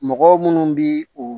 Mɔgɔ minnu bi u